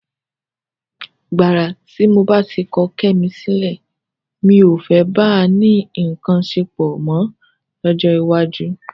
Gbàrà tí mo bá ti kọ Kẹ́mi sílẹ̀, mi ò fẹ́ bá a ní nǹkan ṣepọ̀ mọ́ lọ́jọ́ iwájú.